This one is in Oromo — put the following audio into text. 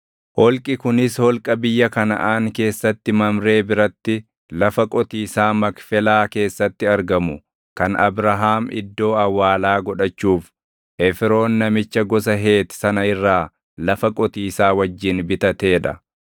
Holqi kunis holqa biyya Kanaʼaan keessatti Mamree biratti lafa qotiisaa Makfelaa keessatti argamu kan Abrahaam iddoo awwaalaa godhachuuf Efroon namicha gosa Heeti sana irraa lafa qotiisaa wajjin bitatee dha.